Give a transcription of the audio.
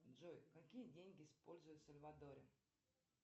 джой какие деньги используют в сальвадоре